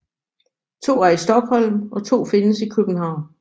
To er i Stockholm og to findes i København